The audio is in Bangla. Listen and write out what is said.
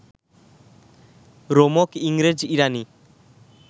রোমক ইংরেজ ইরাণী